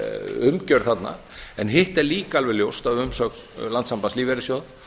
umgjörð þarna hitt er líka alveg ljóst af umsögn landssambands lífeyrissjóða